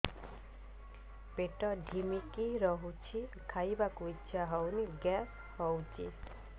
ପେଟ ଢିମିକି ରହୁଛି ଖାଇବାକୁ ଇଛା ହଉନି ଗ୍ୟାସ ହଉଚି